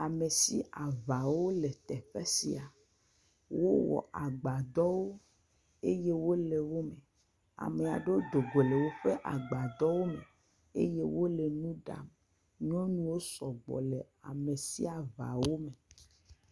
Amesiaŋawo le teƒe sia, wowɔ agbadɔwo eye wole wo me, amea ɖewo dogo le woƒe agbadɔwo me eye wole nu ɖa, nyɔnuwo sɔgbɔ le amesiaŋawo me.